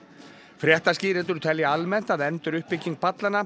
fréttaskýrendur telja almennt að enduruppbygging